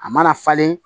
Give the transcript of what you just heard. A mana falen